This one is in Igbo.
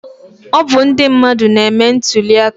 Ọ bụ ndị mmadụ na-eme ntuli aka